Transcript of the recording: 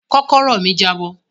Kókóró mi jabọ.